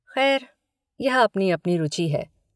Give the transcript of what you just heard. खैर यह अपनी अपनी रुचि है।